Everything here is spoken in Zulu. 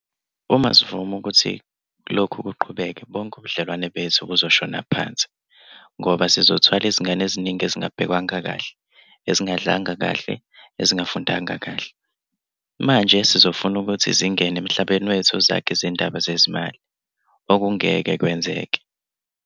Uma sivuma ukuthi lokhu kuqhubeke bonke ubudlelwane bethu buzoshona phansi ngoba sizothwala izingane eziningi ezingabhekwanga kahle, ezingadlanga kahle, ezingafundanga kahle, manje sizofuna ukuthi zingene emhlabeni wethu zakhe izindaba zezimali - akungeze kwenzeke.